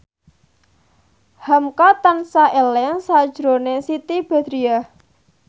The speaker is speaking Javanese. hamka tansah eling sakjroning Siti Badriah